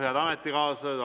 Head ametikaaslased!